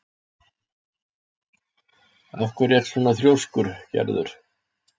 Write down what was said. Af hverju ertu svona þrjóskur, Gerður?